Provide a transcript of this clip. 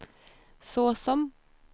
såsom